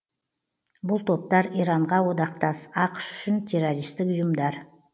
бұл топтар иранға одақтас ақш үшін террористтік ұйымдар